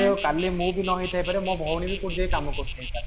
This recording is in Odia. ଏବେ କାଲି ମୁଁ ବି ନହେଇଥାଇପାରେ ମୋ ଭଉଣୀ ବି କୋଉଠି ଯାଇ କାମ କରୁଥାଇପାରେ